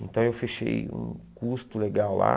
Então eu fechei um custo legal lá.